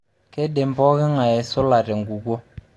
Keidim pooking'ae aisula tenkukuo.